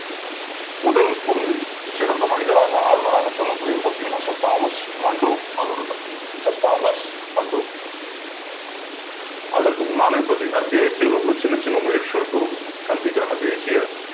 முதல் ஒரு சிறந்த மனிதராக அனைவராலும் சொல்லக்கூடியவர் Sir Thomas Munro என்பவர் தான் Sir Thomas Munro அதற்கு முன்னால் தேசிய அளவில் சின்னச் சின்ன முயற்சிகள் மேற்கொண்ட கல்விக்கான தேசிய